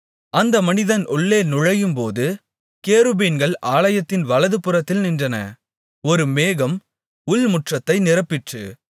அந்த மனிதன் உள்ளே நுழையும்போது கேருபீன்கள் ஆலயத்தின் வலது புறத்தில் நின்றன ஒரு மேகம் உள்முற்றத்தை நிரப்பிற்று